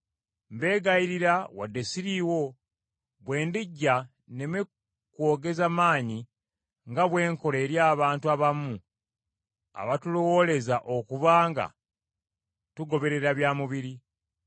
mbegayirira wadde ssiriiwo, bwe ndijja nneme kwogeza maanyi nga bwe nkola eri abantu abamu abatulowooleza okuba nga tugoberera bya mubiri.